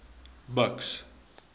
buks